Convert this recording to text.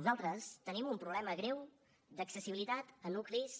nosaltres tenim un problema greu d’accessibilitat a nuclis